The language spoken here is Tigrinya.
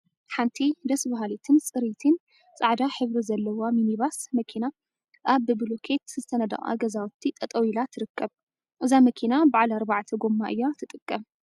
ሓንቲ ደስ በሃሊትን ፅርይቲን ፃዕዳ ሕብሪ ዘለዋ ሚኒባስ መኪና አብ ብብሉኬት ዝተነደቀ ገዛውቲ ጠጠወ ኢላ ትርከብ፡፡ እዛ መኪና በዓል አርባዕተ ጎማ እያ ትጥቀም፡፡